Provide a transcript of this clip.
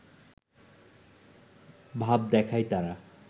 ভাব দেখায় তারা